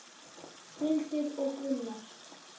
Hildur og Gunnar.